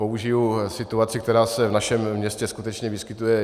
Použiji situaci, která se v našem městě skutečně vyskytuje.